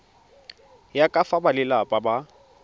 ya ka fa balelapa ba